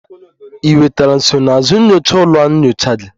Ị nwetara nsonaazụ nyocha ụlọ nyocha gị?